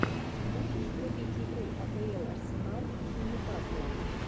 можешь врубить игру апл арсенал с ньюкаслом